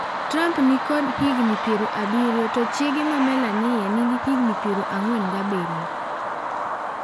Trump ni kod higni piero abirio to chiege ma Melania ni gi higni piero ang'wen gabirio.